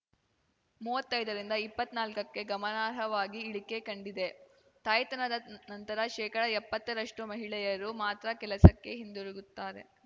ಮುವತ್ತೈದ ರಿಂದ ಇಪ್ಪತ್ನಾಲ್ಕಕ್ಕೆ ಗಮನಾರ್ಹವಾಗಿ ಇಳಿಕೆ ಕಂಡಿದೆ ತಾಯ್ತನದ ನಂತರ ಶೇಕಡ ಎಪ್ಪತ್ತ ರಷ್ಟು ಮಹಿಳೆಯರು ಮಾತ್ರ ಕೆಲಸಕ್ಕೆ ಹಿಂದಿರುಗುತ್ತಾರೆ